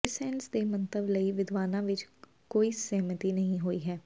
ਕ੍ਰਿਸਸੈਂਟਸ ਦੇ ਮੰਤਵ ਲਈ ਵਿਦਵਾਨਾਂ ਵਿੱਚ ਕੋਈ ਸਹਿਮਤੀ ਨਹੀਂ ਹੋਈ ਹੈ